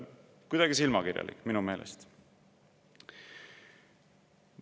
Kuidagi silmakirjalik minu meelest.